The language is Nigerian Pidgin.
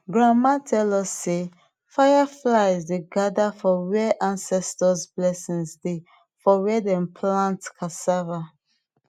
grandma tell us sey fireflies dey gather for where ancestors blessing dey for where dem plant ccassava